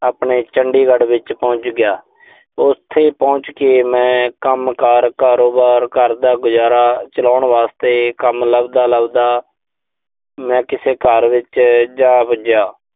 ਆਪਣੇ ਚੰਡੀਗੜ੍ਹ ਵਿੱਚ ਪਹੁੰਚ ਗਿਆ। ਉਥੇ ਪਹੁੰਚ ਕੇ ਮੈਂ ਕੰਮਕਾਰ, ਕਾਰੋਬਾਰ ਕਰਦਾ, ਗੁਜ਼ਾਰਾ ਚਲਾਉਣ ਵਾਸਤੇ ਕੰਮ ਲੱਭਦਾ, ਲੱਭਦਾ ਮੈਂ ਕਿਸੇ ਕਾਰ ਵਿੱਚ ਜਾ ਵੱਜਿਆ।